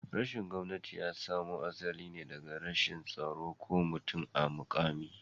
rashin gomnati yasamo asaline daga rashin tsaro ko mutum a mukami